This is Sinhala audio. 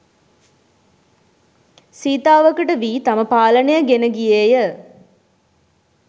සීතාවකට වී තම පාලනය ගෙන ගියේය